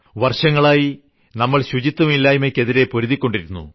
വർഷങ്ങളായി നമ്മൾ ശുചിത്വമില്ലായ്മയ്ക്കെതിരെ പൊരുതിക്കൊണ്ടിരിക്കുന്നു